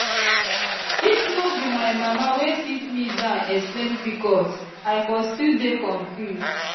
if no be my mama wey sit me down explain pcos i for still dey confuse